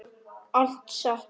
Allt satt.